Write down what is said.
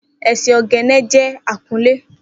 Eseoghene jẹ akunlé.